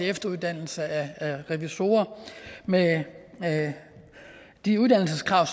efteruddannelse af revisorer med med de uddannelseskrav